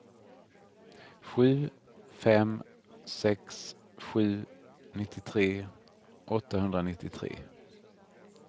sju fem sex sju nittiotre åttahundranittiotre